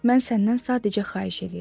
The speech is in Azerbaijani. Mən səndən sadəcə xahiş eləyirəm.